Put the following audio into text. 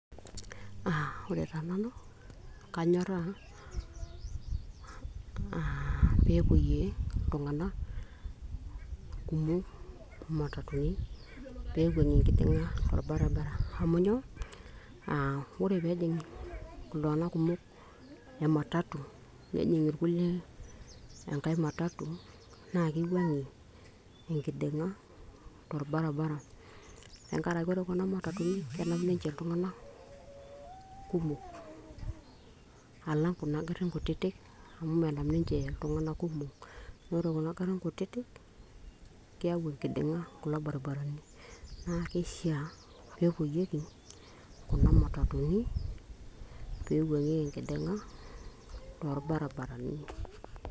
uh, ore taa nanu kanyorrauh peepuoyie iltung'anak kumok imatatuni peiwuang'ie enkiding'a tolbaribara amu nyoo? ore peejing iltung'anak kumok ematatu nejing irkulie enkae matatu naa kiwuang'ie enkiding'a torbarabara tenkarake ore kuna matatuni kenap ninche iltung'anak kumok alang kuna garrin kutitik amu menap ninche iltung'anak kumok amu ore kuna garrin kutitik keyau enkiding'a kulo baribarani naa keishaa peepuoyieki kuna matatuni peiwuang'ieki enkiding'a torbarabarani.